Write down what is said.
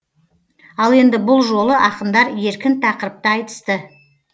ал енді бұл жолы ақындар еркін тақырыпта айтысты